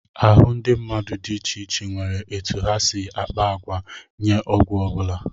Ahụ ndị mmadụ dị iche iche nwere etu ha si akpa àgwà nye ọgwụ ọ bụla